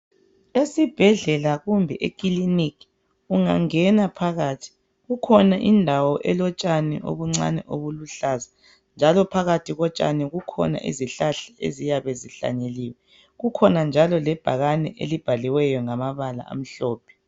Esibhedlela kumbe ekiliniki ungangena phakathi kukhona indawo elotshani obuncani obuluhlaza njalo phakathi kotshani kukhona izihlahla eziyabezihlanyeliwe kukhona njalo lebhakane elibhaliweyo ngamabala amhlophe